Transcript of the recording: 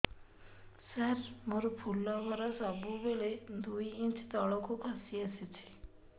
ସାର ମୋର ଫୁଲ ଘର ସବୁ ବେଳେ ଦୁଇ ଇଞ୍ଚ ତଳକୁ ଖସି ଆସିଛି